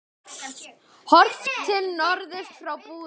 Horft til norðurs frá Búðum.